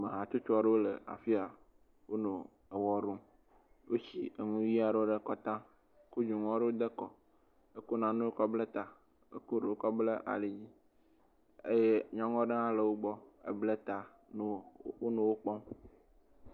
Ame hatsotso aɖewo le afi ya. Wonɔ ewɔ ɖum. Woshi eŋu ɣi aɖewo ɖe kɔta, kɔdzonu ɣi aɖewo de kɔ, kɔ newɔ kɔ ble ta gakɔ ɖewo bla ali dzi. Eye nyɔnuaɖe hã le wogbɔ eble ta wonɔ wo kpɔm.